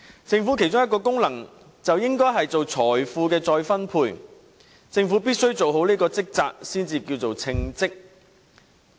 政府其中一個功能應是進行財富再分配，政府必須做好這職責方能稱為稱職。